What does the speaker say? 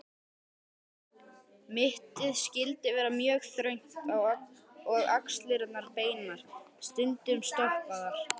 Mittið skyldi vera mjög þröngt og axlirnar beinar, stundum stoppaðar.